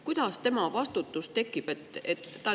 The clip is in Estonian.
Kuidas tema vastutus tekib?